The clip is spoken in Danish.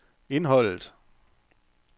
indholdet